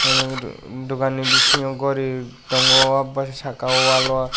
nai naigatong dokan ni bisingo gori tongo abasbsaka o wall o.